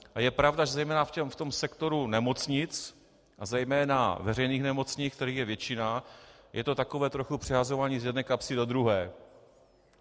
A je pravda, že zejména v tom sektoru nemocnic, a zejména veřejných nemocnic, kterých je většina, je to takové trochu přehazování z jedné kapsy do druhé.